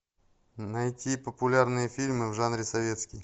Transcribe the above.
найти популярные фильмы в жанре советский